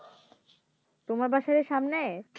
তোমার বাসার সামনে